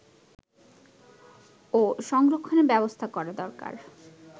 ও সংরক্ষণের ব্যবস্থা করা দরকার